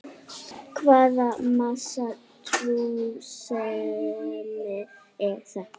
Hvaða massa túrismi er þetta?